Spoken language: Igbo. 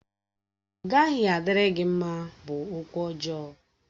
Ọ gaghị adịrị gị mma! bụ okwụ ọjọọ.